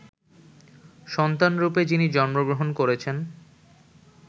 সন্তানরূপে যিনি জন্মগ্রহণ করেছেন